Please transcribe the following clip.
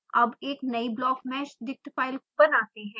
अब एक नयी blockmeshdict फाइल बनाते हैं